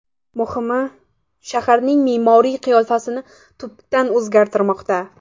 Muhimi, shaharning me’moriy qiyofasi tubdan o‘zgarmoqda.